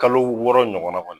Kalo wɔɔrɔ ɲɔgɔn na kɔni